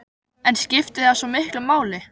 En skiptir það svo miklu máli?